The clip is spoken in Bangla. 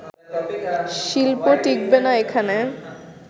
শিল্প টিকবে না এখানে